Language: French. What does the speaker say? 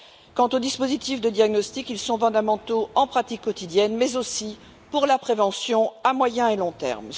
quant aux dispositifs de diagnostic, ils sont fondamentaux dans la pratique quotidienne, mais aussi pour la prévention à moyen et long terme.